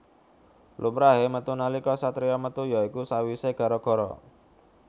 Lumrahé metu nalika satriya metu ya iku sawisé gara gara